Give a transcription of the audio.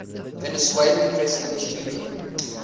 venezuelan president hugo